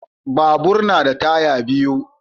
Babur na da taya biyu.